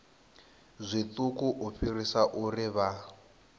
zwiṱuku u fhirisa uri vha